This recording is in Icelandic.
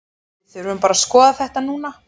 Við þurfum bara að skoða þetta núna.